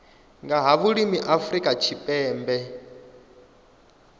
nga ha vhulimi afrika tshipembe